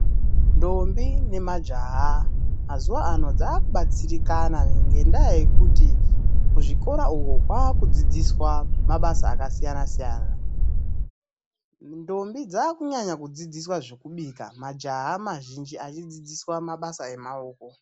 Ndombi nemajaha mazuwa ano dzaakubatsirikana, ngendaa yekuti kuzvikora uko kwaakudzidziswa mabasa akasiyana siyana. Ndombi dzaakunyanya kudzidziswa zvekubika, majaha mazhinji achidzidziswa mabasa emaoko.